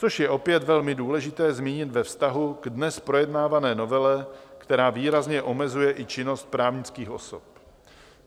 Což je opět velmi důležité zmínit ve vztahu k dnes projednávané novele, která výrazně omezuje i činnost právnických osob.